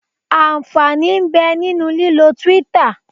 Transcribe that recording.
Ànfàní ń bẹ nínú lílọ Twitter.